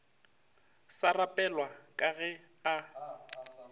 sa rapelwa ka ge a